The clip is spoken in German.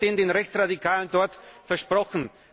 Was wurde denn den Rechtsradikalen dort versprochen?